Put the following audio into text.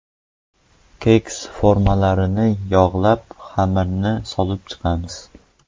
Keks formalarini yog‘lab, xamirni solib chiqamiz.